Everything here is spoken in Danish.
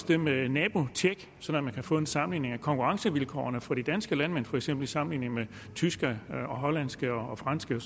det med nabotjek så man kan få en sammenligning af konkurrencevilkårene for de danske landmænd for eksempel i sammenligning med tyske hollandske og franske